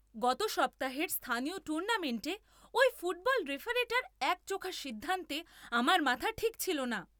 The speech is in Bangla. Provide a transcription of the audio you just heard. গত সপ্তাহের স্থানীয় টুর্নামেন্টে ওই ফুটবল রেফারিটার একচোখো সিদ্ধান্তে আমার মাথার ঠিক ছিল না!